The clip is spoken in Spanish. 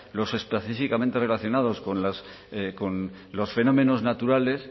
los específicamente relacionados con los fenómenos naturales